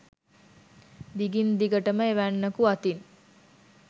දිගින් දිගට ම එවැන්නෙකු අතින්